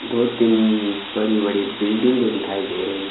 दो तीन बड़ी बड़ी बिल्डिंगे दिखाई दे रही--